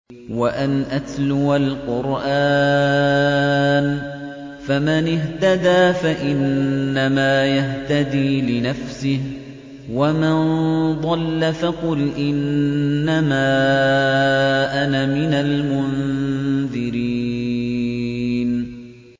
وَأَنْ أَتْلُوَ الْقُرْآنَ ۖ فَمَنِ اهْتَدَىٰ فَإِنَّمَا يَهْتَدِي لِنَفْسِهِ ۖ وَمَن ضَلَّ فَقُلْ إِنَّمَا أَنَا مِنَ الْمُنذِرِينَ